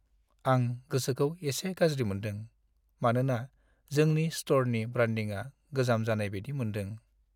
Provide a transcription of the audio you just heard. आं गोसोखौ एसे गाज्रि मोन्दों, मानोना जोंनि स्ट'रनि ब्रान्डिंआ गोजाम जानाय बायदि मोन्दों।